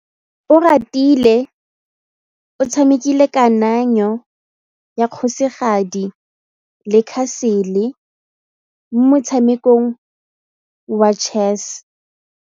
Oratile o tshamekile kananyô ya kgosigadi le khasêlê mo motshamekong wa chess.